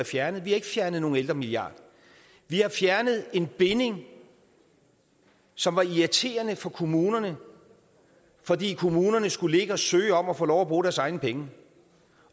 fjernet vi har ikke fjernet nogen ældremilliard vi har fjernet en binding som var irriterende for kommunerne fordi kommunerne skulle ligge og søge om at få lov at bruge deres egne penge